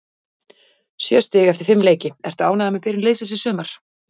Sjö stig eftir fimm leiki, ertu ánægður með byrjun liðsins í sumar?